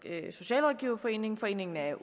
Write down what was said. socialrådgiverforening foreningen af